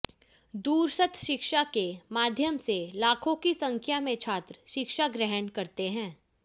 दूरस्थ शिक्षा के माध्यम से लाखों की संख्या में छात्र शिक्षा ग्रहण करते हैं